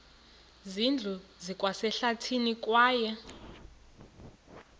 zindlu zikwasehlathini kwaye